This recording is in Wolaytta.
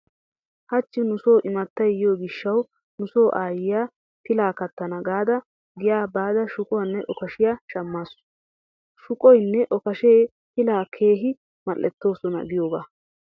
Hachchi nu so imattay yiyo gishshawu nu so aayiya pilaa kattana gaada giya baada shuquwanne okashiya shammaasu. Shuqoynne okashee pilaa keehin mal"ettoosona giyogaa.